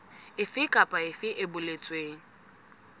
efe kapa efe e boletsweng